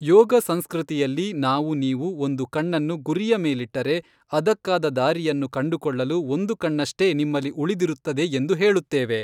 ಯೋಗ ಸಂಸ್ಕೃತಿಯಲ್ಲಿ ನಾವು ನೀವು ಒಂದು ಕಣ್ಣನ್ನು ಗುರಿಯ ಮೇಲಿಟ್ಟರೆ ಅದಕ್ಕಾದ ದಾರಿಯನ್ನು ಕಂಡುಕೊಳ್ಳಲು ಒಂದು ಕಣ್ಣಷ್ಟೇ ನಿಮ್ಮಲ್ಲಿ ಉಳಿದಿರುತ್ತದೆ ಎಂದು ಹೇಳುತ್ತೇವೆ.